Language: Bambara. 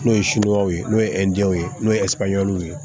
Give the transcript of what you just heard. N'o ye ye n'o ye ye n'o ye ye